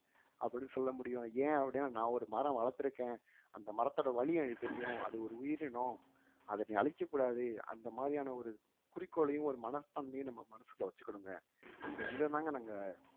அப்படீன்னு சொல்ல முடியும் ஏன் அப்படீன்னா நான் ஒரு மரம் வளர்த்திருக்கேன் அந்த மரத்தோட வலி எனக்கு தெரியும் அது ஒரு உயிரினம் அதை நீ அழிக்கக்கூடாது அந்த மாதிரியான ஒரு குறிக்கோளையும் ஒரு மனப்பான்மையையும் நம்ம மனசுக்குள்ள வச்சுக்கிடுனுங்க so இதத்தாங்க நாங்க